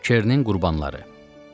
Kernin qurbanları.